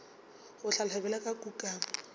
go hlaloswa bjalo ka kukamo